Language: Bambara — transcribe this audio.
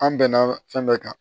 An bɛnna fɛn bɛɛ kan